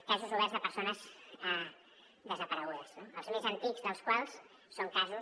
casos oberts de persones desaparegudes els més antics dels quals són casos